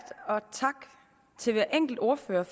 og tak til hver enkelt ordfører